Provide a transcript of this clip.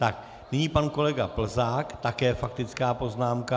Tak, nyní pak kolega Plzák, také faktická poznámka.